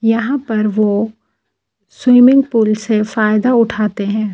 यहाँ पर वो स्विमिंग पूल से फायदा उठते है।